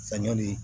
Saɲɔ de